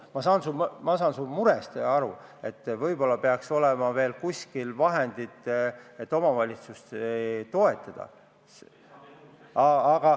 Ma saan su murest aru, et võib-olla peaks olema veel mingisugused vahendid, et omavalitsusi just nimelt toetada.